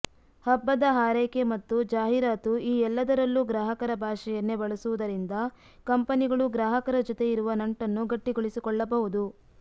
ಹಬ್ಬದ ಹಾರೈಕೆ ಮತ್ತು ಜಾಹೀರಾತು ಈ ಎಲ್ಲದರಲ್ಲೂ ಗ್ರಾಹಕರ ಭಾಷೆಯನ್ನೇ ಬಳಸುವುದರಿಂದ ಕಂಪನಿಗಳು ಗ್ರಾಹಕರ ಜೊತೆ ಇರುವ ನಂಟನ್ನು ಗಟ್ಟಿಗೊಳಿಸಿಕೊಳ್ಳಬಹುದು